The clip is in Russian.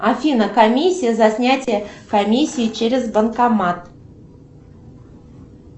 афина комиссия за снятие комиссии через банкомат